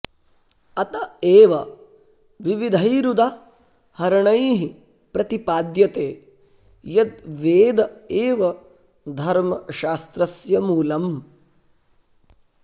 अत एव विविधैरुदा हरणैः प्रतिपाद्यते यद् वेद एव धर्मशास्त्रस्य मूलम्